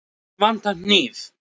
Mig vantar hníf.